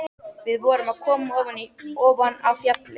Við vorum að koma ofan af fjalli.